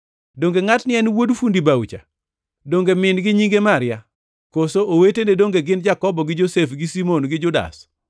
Donge ngʼatni en wuod fundi bao-cha? Donge min-gi nyinge Maria, koso owetene donge gin Jakobo gi Josef gi Simon kod Judas?